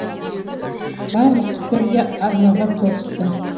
барлық пікір бір арнаға тоғысты